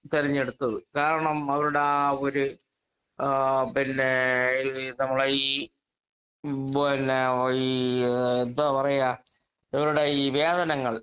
speaker 2 തെരെഞ്ഞെടുത്തത് കാരണം അവരുടെ ആ ഒരു ആ പിന്നെ നമ്മളെ ഈ പിന്നെ ഈ എന്താ പറയുക ഇവരുടെ ഈ വേതനങ്ങള്